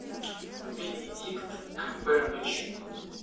бенедикт камбербэтч